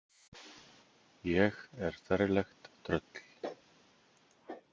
Ég er ferlegt tröll.